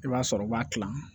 I b'a sɔrɔ u b'a tilan